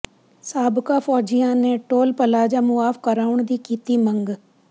ਸਾਬਕਾ ਫ਼ੌਜੀਆਂ ਨੇ ਟੋਲ ਪਲਾਜ਼ਾ ਮੁਆਫ਼ ਕਰਾਉਣ ਦੀ ਕੀਤੀ ਮੰਗ